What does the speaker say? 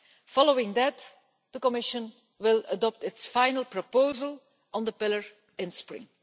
Following that, the Commission will adopt its final proposal on the Pillar in the spring.